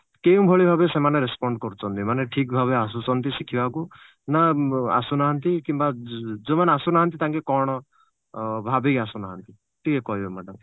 କେଉଁ ଭଳି ଭାବେ ସେମାନେ respond କରୁଛନ୍ତି ମାନେ ଠିକ ଭାବେ ଆସୁଛନ୍ତି ଶିଖିବାକୁ ନା ଆସୁନାହାନ୍ତି କିମ୍ବା ଯ ଯାଉମାନେ ଆସୁନାହାନ୍ତି ଟାଙ୍କେ କଣ ଅ ଭାବିକି ଆସୁନାହାନ୍ତି ଟିକେ କହିବେ madam?